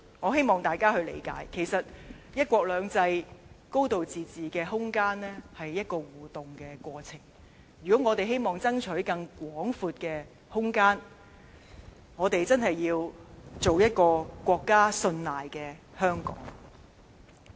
我希望大家理解，其實"一國兩制"、"高度自治"的空間是一個互動過程，如果我們希望爭取更廣闊的空間，我們真要做一個國家信賴的香港。